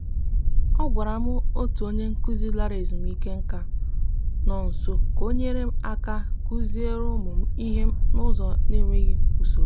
a gwara m otu onye nkuzi lara ezumike nka nọ nso ka o nyere aka kuzieere ụmụ m ihe n'ụzọ n'enweghị usoro.